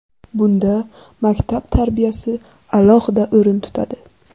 Bunda maktab tarbiyasi alohida o‘rin tutadi.